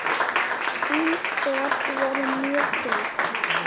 Þín spor voru mjög þung.